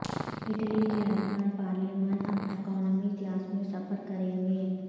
Italy کے ارکان پارلیمان اب اکانومی کلاس میں سفر کریں گے